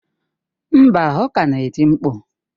Mba, ọ ka na-eti mkpu.